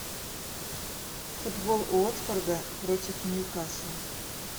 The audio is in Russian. футбол уотфорда против ньюкасла